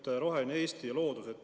Teema "Roheline Eesti ja loodus".